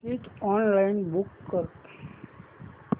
ticket online book कर